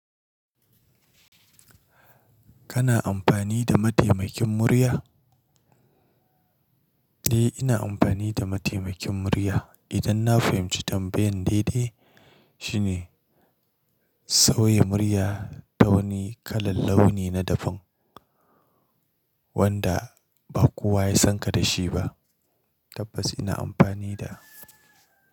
Kana amfani da mataimakin murya? Eh, ina amfani da mataimakin murya idan na fahimci tambayan daidai. Shi ne sauya murya ta wani kalar launi na daban wanda ba kowa ya san ka da shi ba. Tabbas ina amfani da.